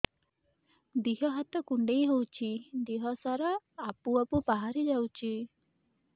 ଦିହ ହାତ କୁଣ୍ଡେଇ ହଉଛି ଦିହ ସାରା ଆବୁ ଆବୁ ବାହାରି ଯାଉଛି